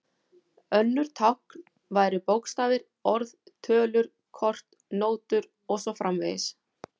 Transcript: Önnur tákn væru bókstafir, orð, tölur, kort, nótur og svo framvegis.